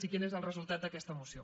i quin és el resultat d’aquesta moció